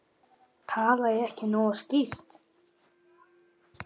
Tala ég ekki nógu skýrt?